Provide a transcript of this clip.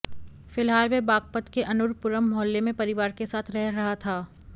फिलहाल वह बागपत के अर्नुनपुरम मोहल्ले में परिवार के साथ रह रहा था